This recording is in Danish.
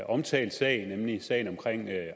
omtalt sag nemlig sagen om